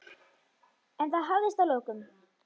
En það hafðist að lokum.